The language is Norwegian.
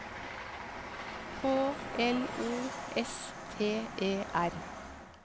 K L O S T E R